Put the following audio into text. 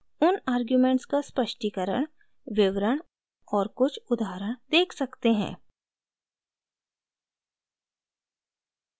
उन आर्ग्युमेंट का स्पष्टीकरण विवरण और कुछ उदाहरण देख सकते हैं